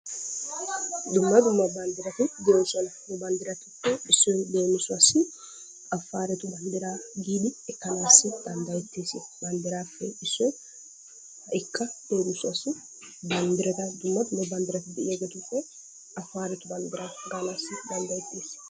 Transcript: Dumma dumma banddirati de'oosona, he banddiratuppe issoy leemissuwaassi Afaaretu banddiraa giidi ekkanaas danddayettees, banddirappe issoy ha'ikka leemissuwaassi banddrata dumma dumma banddirati de'iyageetuppe Afaaretu banddiraa gaanassi danddayeetees.